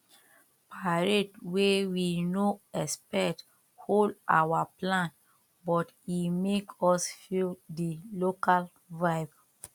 parade wey we no expect hold our plan but e make us feel the local vibe